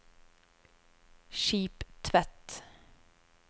Skiptvet